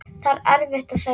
Það er erfitt að segja.